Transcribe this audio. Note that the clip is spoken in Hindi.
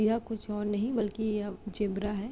यह कुछ और नहीं बल्कि यह ज़ेबरा है।